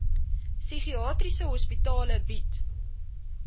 psigiatriese hospitale bied